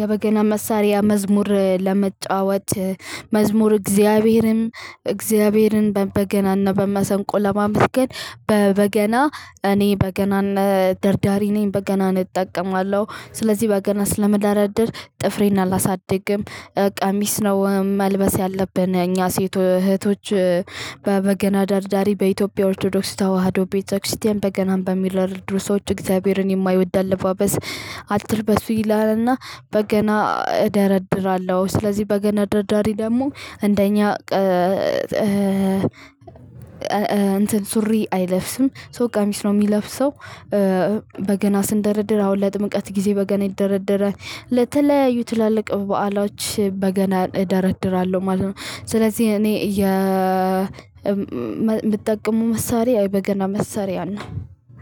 የበገና መሳሪያ መዝሙር ለመጫወት መዝሙር እግዚአብሔርም እግዚአብሔርን በበገናና በመሰንቆ ለማመስገን በበገና እኔ በገናን ደርዳሪ ነኝ። በገናን እጠቀማለሁ። ስለዚህ በገና ስለምዳዳር ጥፍሬና አላሳድግም። ቀሚስ ነው መልበስ ያለብን እኛ ሴት እህቶች በበገና ዳሪዳሪ በኢትዮጵያ ኦርቶዶክስ ተዋህዶ ቤተክርስቲያን በገናን በሚለው ድርጅቶች እግዚአብሔርን የማይወድ አለባበስ አትልበሱ ይላልና በገና እደረድራለሁ። ስለዚህ በገና ደርዳሪ ደግሞ እንደኛ እንትን ሱሪ አይለብስም ሶ ቃሚስ ነው ሚለብሰው በገና ስንደረድር አሁን ለጥምቀት ጊዜ በገና ይደረደረል። ለተለያዩ ትላልቅ በዓሎች በገናን እደረድራለው ማለት ነው። ስለዚህ እኔ የምጠቀመው መሳሪያ በገና መሳሪያ ነው።